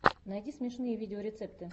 найди смешные видеорецепты